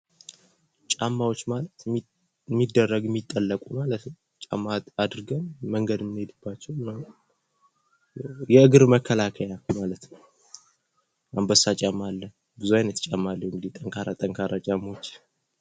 ጫማዎች ማለት የሚደረጉ የሚጠለቁ ማለት ነው። ጫማ አድርገን መንገድ ምንሄድባቸው ምናምን የእግር መከላከያ ማለት ነው አንበሳ ጫማ አለ ብዙ አይነት ጫማ እንግዲህ ጠንካራ ጠንካራ ጫማዎች!